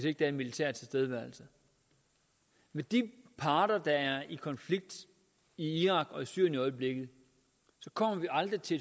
ikke er en militær tilstedeværelse de parter der er i konflikt i irak og i syrien i øjeblikket kommer vi aldrig til